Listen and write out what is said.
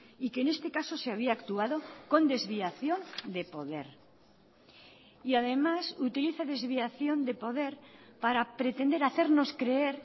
y que en este caso se había actuado con desviación de poder y además utiliza desviación de poder para pretender hacernos creer